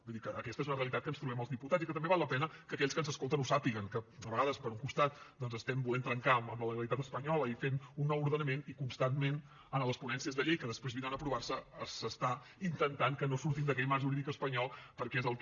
vull dir que aquesta és una realitat que ens trobem els diputats i que també val la pena que aquells que ens escolten ho sàpiguen que a vegades per un costat doncs estem volent trencar amb la legalitat espanyola i fent un nou ordenament i constantment en les ponències de llei que després vindran a aprovar se s’està intentant que no sortim d’aquell marc jurídic espanyol perquè és el que